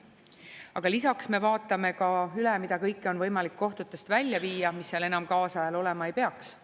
Aga lisaks me vaatame ka üle, mida kõike on võimalik kohtutest välja viia, mis seal enam kaasajal olema ei peaks.